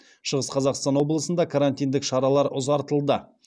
шығыс қазақстан облысында карантиндік шаралар ұзартылды